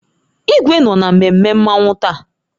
Igwe nọ na mmemme Mmanwu taa